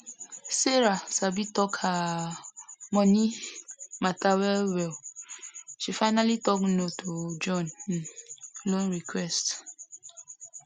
sarah sabi talk her um money um matter well well she finally talk no to john um loan request